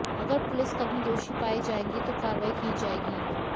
अगर पुलिस कर्मी दोषी पाए जाएंगे तो कार्रवाई की जाएगी